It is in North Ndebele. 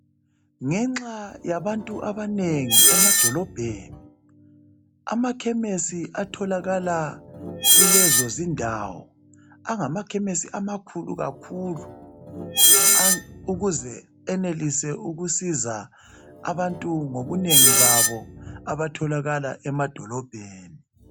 Ngenxa yabantu abanengi emadolobheni, amakhemesi atholakala kulezozindawo angamakhemesi amakhulu kakhulu a ukuze enelise ukusiza abantu ngobunengi babo abatholakala emadolobheni.